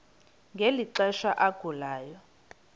ngeli xesha agulayo